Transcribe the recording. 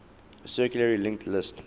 circularly linked list